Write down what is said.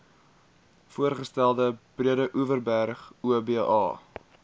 voorgestelde breedeoverberg oba